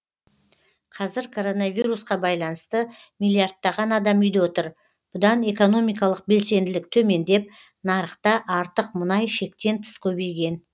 қазір коронавирусқа байланысты миллиардтаған адам үйде отыр бұдан экономикалық белсенділік төмендеп нарықта артық мұнай шектен тыс көбейген